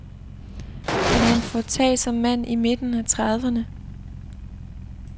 Han er en foretagsom mand i midten af trediverne.